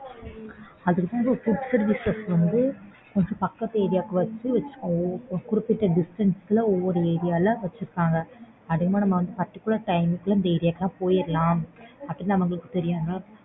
அதுக்குதான் டி food services வந்து கொஞ்சம் பக்கத்து area ல வெச்சுருக்காங்க. குறிப்பிட்ட distance ல ஒவ்வொரு area ல வெச்சுருக்காங்க. அதே மாரி particular time க்குள்ள அந்த area க்குல்லாம் நம்ம போயிரலாம் அப்படின்னு அவங்களுக்கு தெரியாதா?